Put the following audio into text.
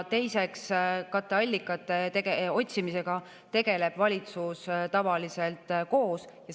Teiseks, katteallikate otsimisega tegeleb valitsus tavaliselt koos.